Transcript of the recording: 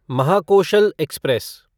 Mahakoshal express